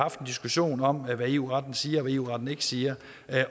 diskussion om hvad eu retten siger og hvad eu retten ikke siger